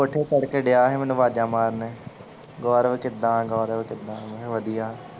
ਕੋਠੇ ਚੜ੍ਹਕੇ ਡਯਾ ਸੀ ਮੈਨੂੰ ਆਵਾਜ਼ਾਂ ਮਾਰਨ ਗੌਰਵ ਕਿੱਦਾਂ ਗੌਰਵ ਕਿੱਦਾਂ ਮੈਂ ਕਿਹਾ ਵਧੀਆ।